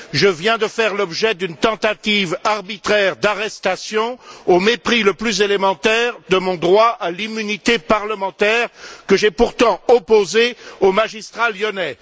Je viens de faire l'objet d'une tentative arbitraire d'arrestation au mépris le plus élémentaire de mon droit à l'immunité parlementaire, que j'ai pourtant opposé aux magistrats lyonnais.